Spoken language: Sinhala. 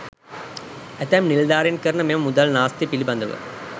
ඇතැම් නිලධාරීන් කරන මෙම මුදල් නාස්‌තිය පිළිබඳව